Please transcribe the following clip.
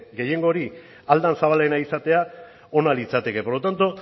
gehiengo hori ahal den zabalena izatea ona litzateke por lo tanto